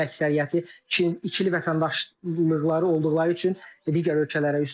Onların əksəriyyəti ikili vətəndaşlıqları olduqları üçün digər ölkələrə üst tuturlar.